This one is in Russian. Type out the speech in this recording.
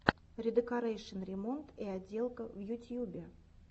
редекорэйшн ремонт и отделка в ютьюбе